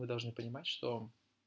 вы должны понимать что